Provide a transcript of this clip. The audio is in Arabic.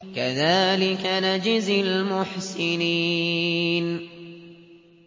كَذَٰلِكَ نَجْزِي الْمُحْسِنِينَ